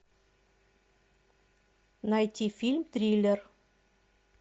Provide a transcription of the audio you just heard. найти фильм триллер